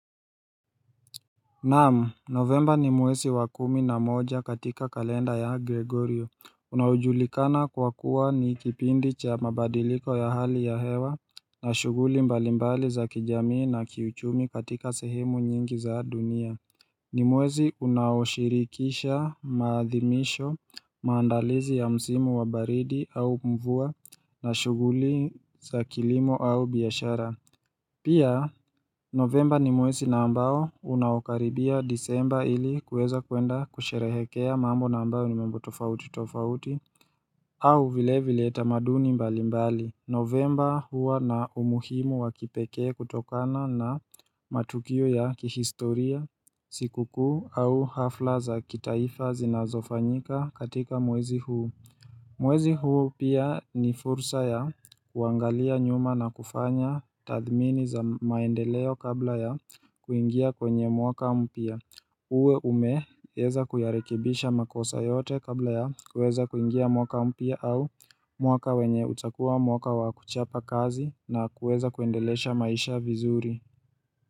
Naam, novemba ni mwesi wa kumi na moja katika kalenda ya Gregorio Unaojulikana kwa kuwa ni kipindi cha mabadiliko ya hali ya hewa na shuguli mbalimbali za kijamii na kiuchumi katika sehemu nyingi za dunia ni mwesi unaoshirikisha maathimisho maandalizi ya msimu wa baridi au mvua na shuguli za kilimo au biashara Pia novemba ni mwesi na ambao unaokaribia disemba ili kuweza kuenda kusherehekea mambo na ambayo nimambo tofauti tofauti au vile vile tamaduni mbali mbali Novemba huwa na umuhimu wakipekee kutokana na matukio ya kihistoria sikukuu au hafla za kitaifa zinazofanyika katika mwesi huu Mwezi huu pia ni fursa ya kuangalia nyuma na kufanya tathmini za maendeleo kabla ya kuingia kwenye mwaka mpya. Uwe umeweza kuyarekibisha makosa yote kabla ya kueza kuingia mwaka mpya au mwaka wenye utakuwa mwaka wa kuchapa kazi na kueza kuendelesha maisha vizuri.